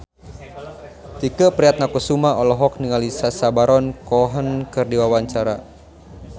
Tike Priatnakusuma olohok ningali Sacha Baron Cohen keur diwawancara